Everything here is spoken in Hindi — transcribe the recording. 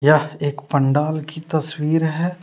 यह एक पंडाल की तस्वीर है।